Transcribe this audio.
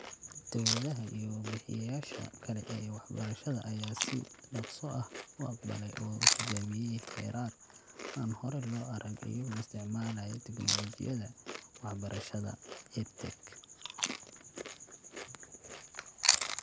Dawladaha iyo bixiyeyaasha kale ee waxbarashada ayaa si dhakhso ah u aqbalay oo tijaabiyey heerar aan hore loo arag iyagoo isticmaalaya tignoolajiyada waxbarashada (EdTech) .